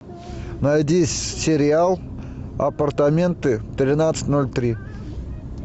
найди сериал апартаменты тринадцать ноль три